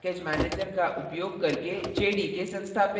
java program compile करना और run करना